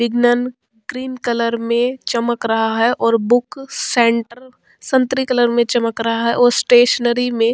Vignan cream colour में चमक रहा है और बुक सेंटर संत्री कलर मैं चमक रहा है और स्टेशनरी में --